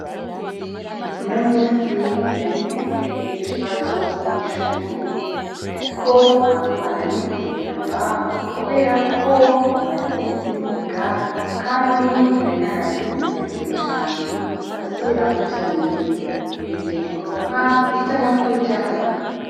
Uno musi narimfise ikibazo kw'ishuri, ariko nta bwoba narimfise na mba, kubera ko, maze imisi niga, kandi nari narazindutse kare cane ndasubiramwo ivyo nize, nizeye kuronka ijana kw'ijana.